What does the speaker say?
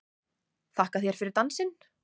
Þakka þér fyrir dansinn!